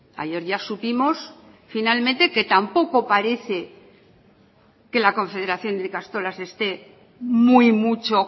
ayer ya supimos finalmente que tampoco parece que la confederación de ikastolas esté muy mucho